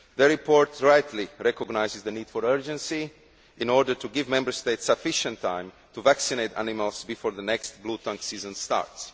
The report rightly recognises the need for urgency in order to give Member States sufficient time to vaccinate animals before the next bluetongue season starts.